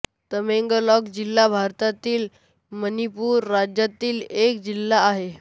तामेंगलॉॅंग जिल्हा भारतातील मणिपुर राज्यातील एक जिल्हा आहे